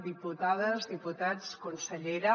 diputades diputats consellera